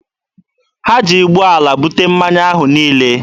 Ha ji ụgbọala bute mmanya ahụ niile.